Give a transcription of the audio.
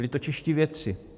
Byli to čeští vědci.